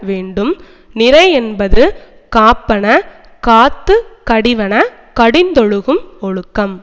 வேண்டும் நிறையென்பது காப்பன காத்து கடிவன கடிந்தொழுகும் ஒழுக்கம்